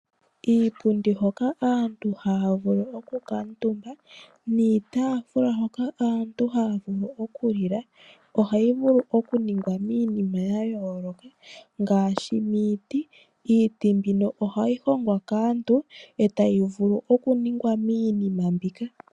Iipundi hoka aantu haya vulu okukaatumba niitaafula hoka aantu haya vulu okulila, ohayi vulu okuningwa miinima ya yooloka ngaashi miiti. Iiti mbino ohayi hongwa kaantu e tamu vulu okuningwa iinima mbika.